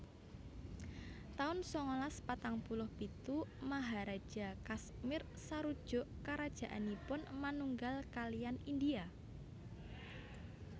taun sangalas patang puluh pitu Maharaja Kashmir sarujuk karajaanipun manunggal kaliyan India